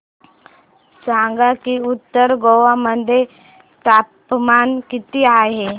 सांगा की उत्तर गोवा मध्ये तापमान किती आहे